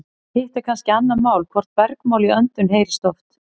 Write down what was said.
hitt er kannski annað mál hvort bergmál í öndum heyrist oft